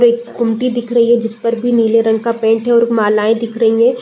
एक गुमती दिख रही है जिसपर भी नीले रंग का पेंट है और मालाएँ दिख रहीं हैं।